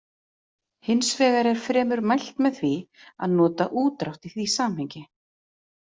Hins vegar er fremur mælt með því að nota útdrátt í því samhengi.